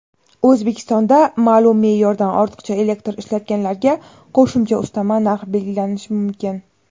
O‘zbekistonda ma’lum me’yordan ortiqcha elektr ishlatganlarga qo‘shimcha ustama narx belgilanishi mumkin.